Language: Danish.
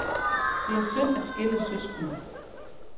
Det er synd at skille søskende.